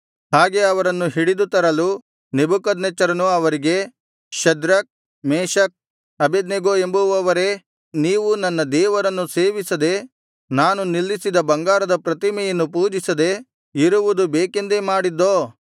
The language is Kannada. ಹಾಗೆ ಅವರನ್ನು ಹಿಡಿದು ತರಲು ನೆಬೂಕದ್ನೆಚ್ಚರನು ಅವರಿಗೆ ಶದ್ರಕ್ ಮೇಶಕ್ ಅಬೇದ್ನೆಗೋ ಎಂಬುವವರೇ ನೀವು ನನ್ನ ದೇವರನ್ನು ಸೇವಿಸದೆ ನಾನು ನಿಲ್ಲಿಸಿದ ಬಂಗಾರದ ಪ್ರತಿಮೆಯನ್ನು ಪೂಜಿಸದೆ ಇರುವುದು ಬೇಕೆಂದೇ ಮಾಡಿದ್ದೋ